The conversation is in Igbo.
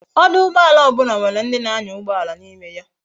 ọdụ̀ụgbọàlà obula nwere ndi na anya ugboala na ime ya